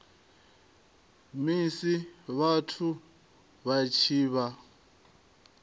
musi vhathu vha tshi vha